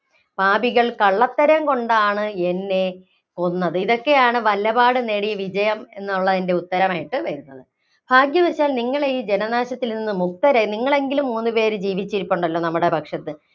പാപികള്‍ കള്ളത്തരംകൊണ്ടാണ് എന്നെ കൊന്നത്. ഇതൊക്കെയാണ് വല്ലപാടും നേടിയ വിജയം എന്നുള്ളതിന്‍റെ ഉത്തരമായിട്ട് വരുന്നത്. ഭാഗ്യവശാല്‍ നിങ്ങളെ ഈ ജനനാശത്തില്‍ നിന്ന് മുക്തരായി. നിങ്ങളെങ്കിലും മൂന്നുപേര് ജീവിച്ചിരിപ്പുണ്ടല്ലോ നമ്മുടെ പക്ഷത്ത്.